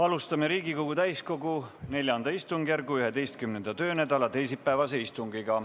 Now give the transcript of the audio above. Alustame Riigikogu täiskogu IV istungjärgu 11. töönädala teisipäevast istungit.